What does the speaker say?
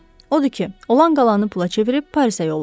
Odur ki, olan-qalanı pula çevirib Parisə yollandı.